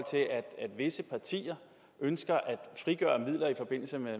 visse partier ønsker at frigøre midler i forbindelse med